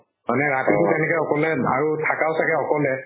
মানে ৰাতিটো তেনেকে অকলে আৰু থাকাও চাগে অকলে